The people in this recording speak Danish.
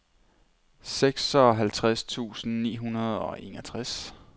seksoghalvtreds tusind ni hundrede og enogtres